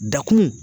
Dakun